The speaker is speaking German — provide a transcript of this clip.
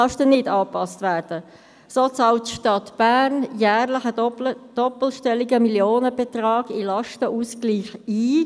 So bezahlt die Stadt Bern jährlich einen doppelstelligen Millionenbetrag in den Lastenausgleich ein.